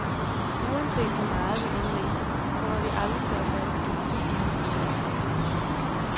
Uanset hvor meget vi end læser, kommer vi aldrig til at fatte dybden i hans forfatterskab.